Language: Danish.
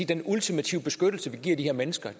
den ultimative beskyttelse vi giver de her mennesker